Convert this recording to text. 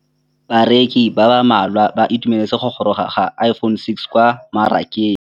Bareki ba ba malwa ba ituemeletse go gôrôga ga Iphone6 kwa mmarakeng.